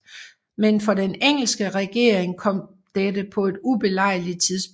Men for den engelske regering kom dette på et ubelejligt tidspunkt